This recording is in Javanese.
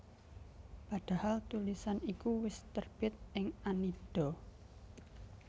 Padahal tulisan iku wis terbit ing Annida